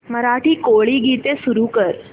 मराठी कोळी गीते सुरू कर